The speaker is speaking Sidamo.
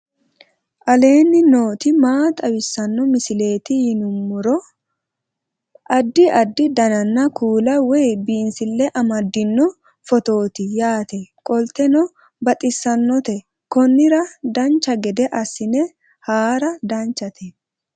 aleenni nooti maa xawisanno misileeti yinummoro addi addi dananna kuula woy biinsille amaddino footooti yaate qoltenno baxissannote konnira dancha gede assine haara danchate